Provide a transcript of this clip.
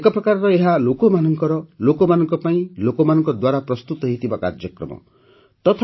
ଏକ ପ୍ରକାର ଏହା ଲୋକମାନଙ୍କର ଲୋକମାନଙ୍କ ପାଇଁ ଲୋକମାନଙ୍କ ଦ୍ୱାରା ପ୍ରସ୍ତୁତ ହୋଇଥିବା କାର୍ଯ୍ୟକ୍ରମ ଅଟେ